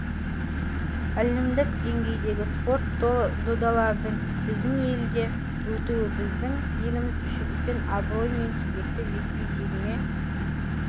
әлемдік деңгейдегі спорт додаларының біздің елде өтуі біздің еліміз үшін үлкен абырой мен кезекті жекпе-жегіме